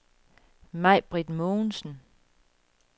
Majbritt Mogensen